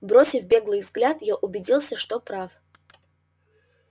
бросив беглый взгляд я убедился что прав